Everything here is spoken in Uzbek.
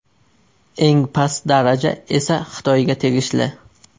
Eng past daraja esa Xitoyga tegishli.